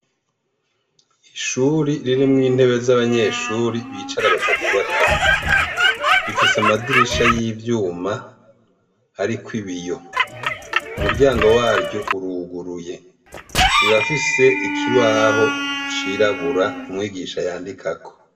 Ishure ririmwo intebe zabanyeshure bicara batatu batatu rifise amadirisha yivyuma ariko ibiyo umuryango waryo uruguruye rirafise ikibaho cirabura umwigisha yandikako